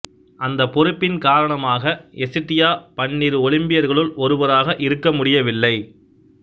அந்தப் பொறுப்பின் காரணமாக எசிடியா பன்னிரு ஒலிம்பியர்களுள் ஒருவராக இருக்க முடியவில்லை